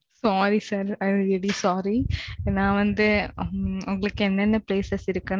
Sorry, sir. I am really, sorry. Okay. நான் வந்து, உங்களுக்கு என்னென்ன places இருக்குன்னு